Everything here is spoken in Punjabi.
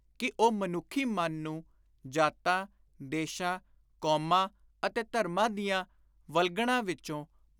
ਕਿ ਉਹ ਮਨੁੱਖੀ ਮਨ ਨੂੰ ਜਾਤਾਂ, ਦੇਸ਼ਾਂ, ਕੌਮਾਂ ਅਤੇ ਧਰਮਾਂ ਦੀਆਂ ਵਲਗਣਾਂ ਵਿਚੋਂ